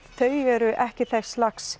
þau eru ekki þess lags